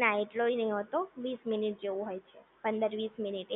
ના એટલોય નથી હોતો વીસ મિનિટ જવું હોય છે, પંદર વીસ મિનિટ